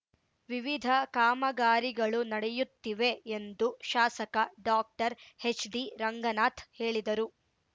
ವಿವಿಧ ಕಾಮಗಾರಿಗಳು ನಡೆಯುತ್ತಿವೆ ಎಂದು ಶಾಸಕ ಡಾಕ್ಟರ್ ಹೆಚ್ಡಿ ರಂಗನಾಥ್ ಹೇಳಿದರು